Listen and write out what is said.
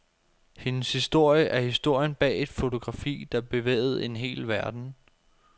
Hendes historie er historien bag et fotografi, der bevægede en hel verden.